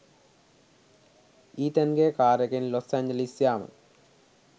ඊතන්ගෙ කාරෙකෙන් Los Angeles යාම.